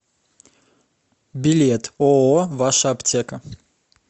билет ооо ваша аптека